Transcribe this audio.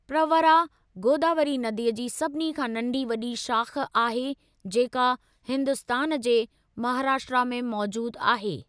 प्रवरा, गोदावरी नदीअ जी सभिनी खां नंढी वॾी शाख़ आहे जेका हिन्दुस्तान जे महाराष्ट्रा में मौजूदु आहे।